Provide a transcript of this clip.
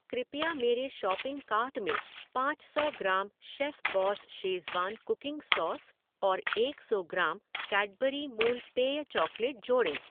कृपया मेरे shopping cart में पाँच सौ gram Chefboss Schezwan cooking sauce और एक सौ ग्राम कैडबरी मूल पेय चॉकलेट जोड़ें।